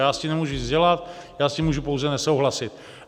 Já s tím nemůžu nic dělat, já s tím můžu pouze nesouhlasit.